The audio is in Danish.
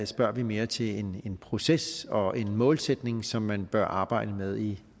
spørger vi mere til en proces og en målsætning som man bør arbejde med i